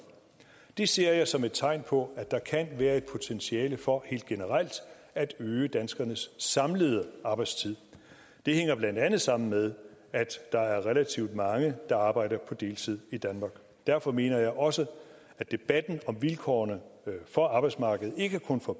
det ser jeg som tegn på at der kan være et potentiale for helt generelt at øge danskernes samlede arbejdstid det hænger blandt andet sammen med at der er relativt mange i der arbejder på deltid derfor mener jeg også at debatten om vilkårene for arbejdsmarkedet og ikke kun for